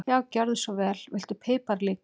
Já, gjörðu svo vel. Viltu pipar líka?